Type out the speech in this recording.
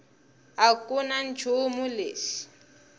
a ku na nchumu lexi